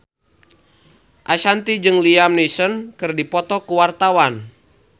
Ashanti jeung Liam Neeson keur dipoto ku wartawan